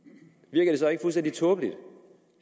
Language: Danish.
virker det så ikke fuldstændig tåbeligt